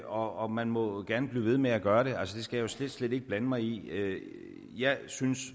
og man må gerne blive ved med at gøre det altså det skal jeg jo slet slet ikke blande mig i jeg synes i